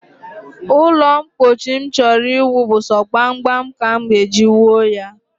Ụlọmkpochi m chọrọ iwu bụ so gbamgbam ka m e ji wuo ya